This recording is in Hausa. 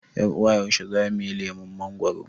yar ' uwa Yaushe zamuyi lemon mangoro?